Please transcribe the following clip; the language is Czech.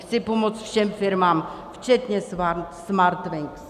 Chci pomoct všem firmám, včetně Smartwings.